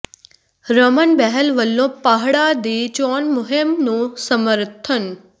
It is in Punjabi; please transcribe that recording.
ਰਮਨ ਬਹਿਲ ਵੱਲੋਂ ਪਾਹੜਾ ਦੀ ਚੋਣ ਮੁਹਿੰਮ ਨੂੰ ਸਮਰਥਨ